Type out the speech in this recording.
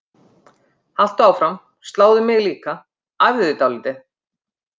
Haltu áfram, sláðu mig líka, æfðu þig dálítið.